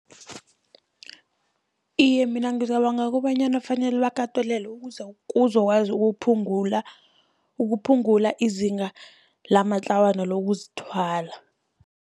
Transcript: Iye, mina ngicabanga kobanyana fanele bakatelelwe kuzokwazi ukuphungula, ukuphungula izinga lamatlawana lokuzithwala.